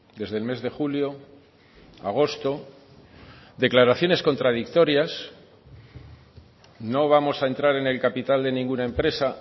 desde el mes de julio agosto declaraciones contradictorias no vamos a entrar en el capital de ninguna empresa